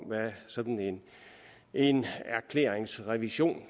hvad sådan en erklæringsrevision